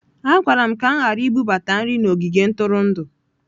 A gwara m ka m ghara ibubata nri n'ogige ntụrụndụ